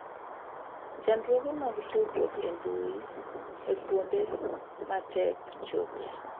Chandruoge mag tudruok e mbui e kuonde ma tek chope